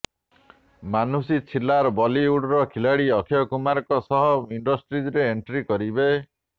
ମାନୁଷୀ ଛିଲ୍ଲାର ବଲିଉଡର ଖିଲାଡ଼ି ଅକ୍ଷୟ କୁମାରଙ୍କ ସହ ଇଣ୍ଡଷ୍ଟ୍ରିରେ ଏଣ୍ଟ୍ରି କରିବେ